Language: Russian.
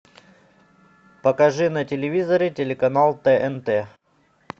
покажи на телевизоре телеканал тнт